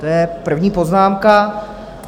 To je první poznámka.